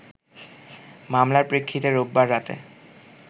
মামলার প্রেক্ষিতে রোববার রাতে